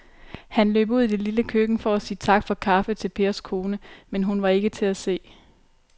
Han løb ud i det lille køkken for at sige tak for kaffe til Pers kone, men hun var ikke til at se.